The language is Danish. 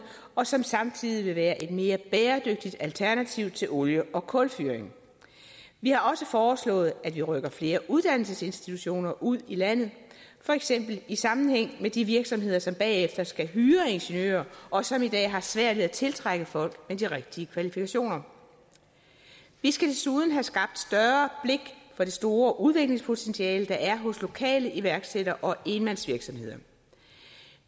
og som samtidig vil være et mere bæredygtigt alternativ til olie og kulfyring vi har også foreslået at vi rykker flere uddannelsesinstitutioner ud i landet for eksempel i sammenhæng med de virksomheder som bagefter skal hyre ingeniører og som i dag har svært ved at tiltrække folk med de rigtige kvalifikationer vi skal desuden have skabt større blik for det store udviklingspotentiale der er hos lokale iværksættere og enmandsvirksomheder